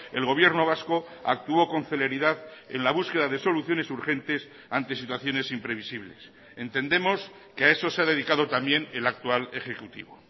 el gobierno vasco actuó con celeridad en la búsqueda de soluciones urgentes ante situaciones imprevisibles entendemos que a eso se ha dedicado también el actual ejecutivo